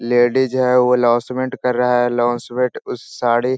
Ladies है वो announcement कर रहा है । अल्लाऊसमेंट उस साड़ी --